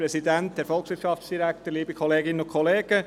– Als erster Einzelsprecher hat Grossrat Lanz das Wort.